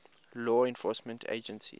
law enforcement agencies